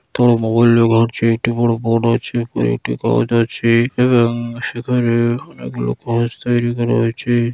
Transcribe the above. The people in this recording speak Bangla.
একটি বড়ো বোর্ড আছে | একটি গাছ আছে | এবং সেখানে অনেক লোক তৌরি করা আছে।